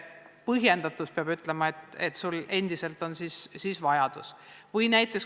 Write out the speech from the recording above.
Põhjendus peab näitama, et sul on endiselt vajadus abi järele.